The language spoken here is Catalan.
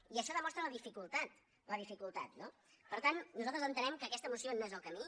i això demostra la dificultat la dificultat no per tant nosaltres entenem que aquesta moció no és el camí